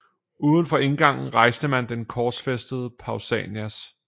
Uden for indgangen rejste man den korsfæstede Pausanias